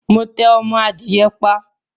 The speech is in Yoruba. Mo tẹ ọmọ adìye pa